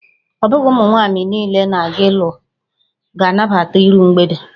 Ọ bụghị ụmụ mwaanyị niile na-aga ịlụ ga-anabata iru mgbede